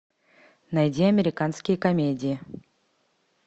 найди американские комедии